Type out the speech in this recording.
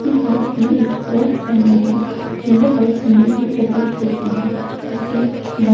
उसने हाथ में एक वॉच पहनी है यह वॉच महंगी प्रतीत होती हैं उसने बा--